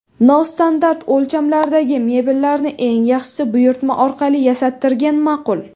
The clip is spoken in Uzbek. Nostandart o‘lchamlardagi mebellarni eng yaxshisi, buyurtma orqali yasattirgan ma’qul.